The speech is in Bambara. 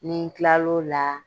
Ni n kila l'o la